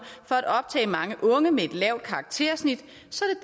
for at optage mange unge med et lavt karaktersnit så